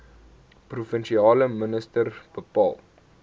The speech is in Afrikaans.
provinsiale minister bepaal